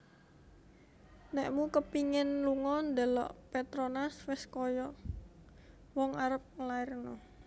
Nekmu kepingin lungo ndelok Petronas wes koyok wong arep nglairno